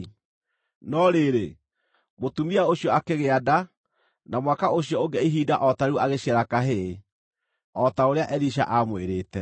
No rĩrĩ, mũtumia ũcio akĩgĩa nda, na mwaka ũcio ũngĩ ihinda o ta rĩu agĩciara kahĩĩ, o ta ũrĩa Elisha aamwĩrĩte.